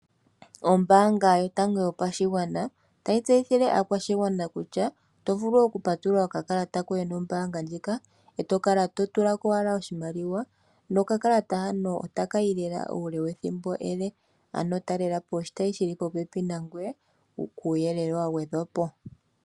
Ombaanga yotango yopashigwana otayi tseyithile aakwashigwana kutya oto vulu oku patulula okakalata koye nombaanga ndjika e to kala to tulako wala oshimaliwa nokakalata hano otakayi lela uule wethimbo ele, ano talelapo oshitayi shili popepi nangwee kuuyelele wa gwedhwapo.